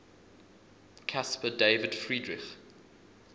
caspar david friedrich